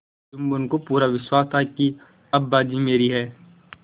जुम्मन को पूरा विश्वास था कि अब बाजी मेरी है